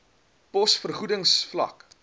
pos vergoedings vlak